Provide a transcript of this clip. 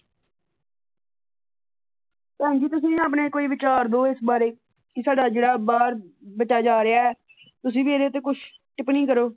ਭੈਣ ਜੀ ਤੁਸੀ ਵੀ ਆਪਣੇ ਕੋਈ ਵਿਚਾਰ ਦਿਓ ਇਸ ਬਾਰੇ ਕਿ ਸਾਡਾ ਜਿਹੜਾ ਬਾਹਰ ਬੱਚਾ ਜਾ ਰਿਹਾ ਤੁਸੀ ਵੀ ਇਹਦੇ ਤੇ ਕੁੱਝ ਟਿੱਪਣੀ ਕਰੋ।